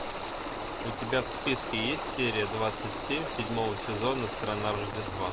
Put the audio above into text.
у тебя в списке есть серия двадцать семь седьмого сезона страна рождества